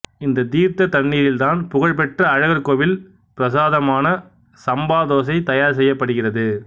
இந்தத் தீர்த்தத் தண்ணீரில்தான் புகழ் பெற்ற அழகர்கோவில் பிரசாதமான சம்பா தோசை தயார் செய்யப்படுகிறது